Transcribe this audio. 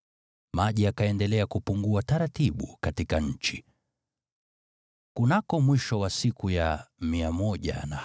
Maji yakaendelea kupungua taratibu katika nchi. Kunako mwisho wa siku ya 150, maji yalikuwa yamepungua,